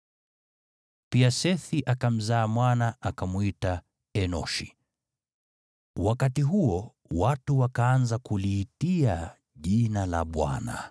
Naye Sethi akamzaa mwana, akamwita Enoshi. Wakati huo watu wakaanza kuliitia jina la Bwana .